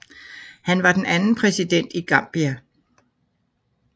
Han var den anden præsident i Gambia